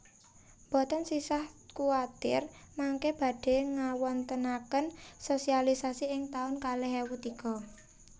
Mboten sisah kuatir mangke badhe ngawontenaken sosialisasi ing taun kalih ewu tiga